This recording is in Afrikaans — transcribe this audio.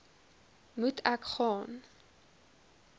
moet ek gaan